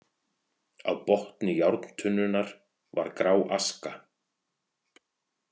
Á botni járntunnunnar var grá aska.